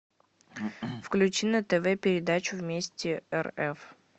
включи на тв передачу вместе рф